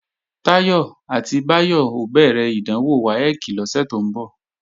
Táyọ̀ àti Báyọ̀ ó bẹ̀rẹ̀ ìdánwò WAEC lọ́sẹ̀ tó ń bọ̀